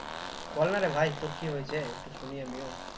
বল না রে ভাই তোর কি হয়েছে একটু শুনিও আমিও